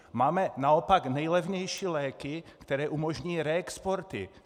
Máme naopak nejlevnější léky, které umožní reexporty.